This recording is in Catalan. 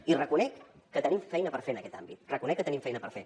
i reconec que tenim feina per fer en aquest àmbit reconec que tenim feina per fer